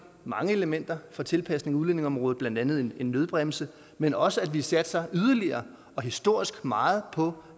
mange elementer for tilpasning af udlændingeområdet blandt andet en nødbremse men også at vi satser yderligere og historisk meget på